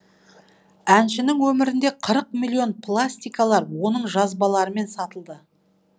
әншінің өмірінде қырық миллион пластикалар оның жазбаларымен сатылды